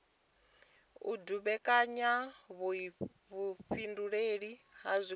u dumbekanya vhuifhinduleli ha zwigwada